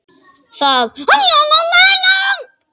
Það göptu allir, þeir mest.